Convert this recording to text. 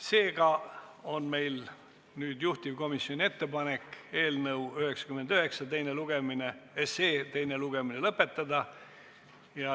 Seega, juhtivkomisjoni ettepanek on eelnõu 99 teine lugemine lõpetada.